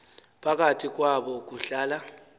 phakathi kwabo kuhlala